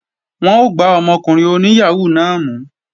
Wọ́n ó gbá ọmọkùnrin oní yàhóó náà mú